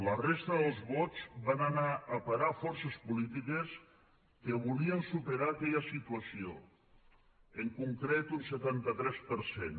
la resta dels vots van anar a parar a forces polítiques que volien superar aquella situació en concret un setanta tres per cent